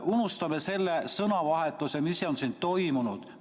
Unustame selle sõnavahetuse, mis on siin toimunud.